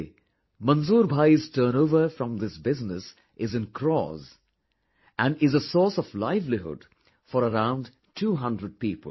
Today, Manzoor bhai's turnover from this business is in crores and is a source of livelihood for around two hundred people